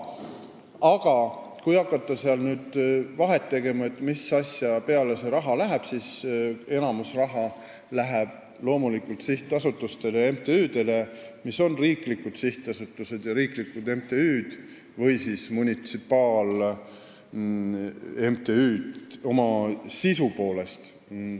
Aga kui hakata vahet tegema, mis asja peale see raha läheb, siis enamik sellest läheb loomulikult riiklikele sihtasutustele ja riiklikele MTÜ-dele või oma sisu poolest munitsipaal-MTÜ-dele.